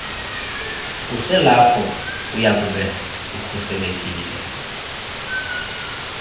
uselapho uyakube ukhuselekile